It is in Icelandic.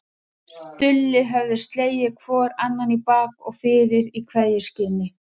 Stulli höfðu slegið hvor annan í bak og fyrir í kveðjuskyni.